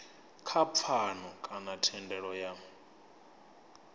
kha pfano kana thendelano ya